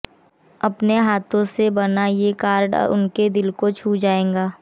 अपने हाथों से बना ये कार्ड उनके दिल को छू जाएगा